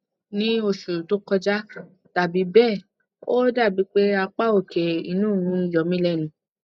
ní oṣù tó kọjá tàbí bẹẹ o dàbí pé apá òkè inu mi yomilenu